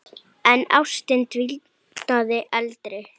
En ástin dvínaði aldrei.